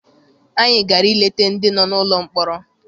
Anyị gara I leta ndị nọ n'ụlọ mkpọrọ.